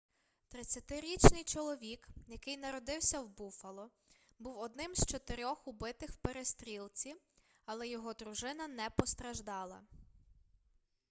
30-річний чоловік який народився в буффало був одним з чотирьох убитих в перестрілці але його дружина не постраждала